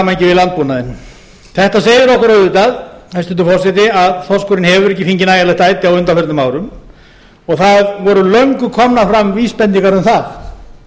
við landbúnaðinn þetta segir okkur auðvitað hæstvirtur forseti að þorskurinn hefur ekki fengi nægjanlegt æti á undanförnum árum og það voru löngu komnar fram vísbendingar um það